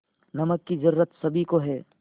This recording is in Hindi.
नमक की ज़रूरत सभी को है